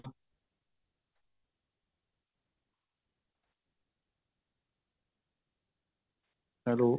hello